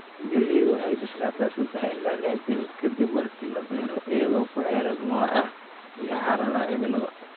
Galleydu waxay bislaataa sadah ilaa lih bilood ka dib marka la beero iyadoo ku xiran nooca iyo xaaladaha cimilada.